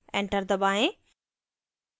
enter दबाएँ